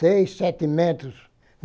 Seis, sete metros.